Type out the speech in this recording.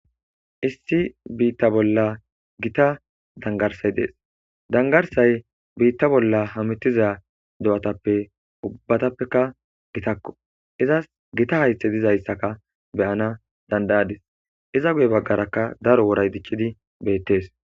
issi biitta bolla gita dangarsay dees . Dangarsay biitta bolla hamitiza do'atappe ubbatappeka gitakko izas gita haythe dizayssaka beyana dandayadis iza guye baggarakka daro woray diccidi beettees